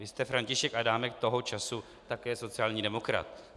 Vy jste František Adámek, toho času také sociální demokrat.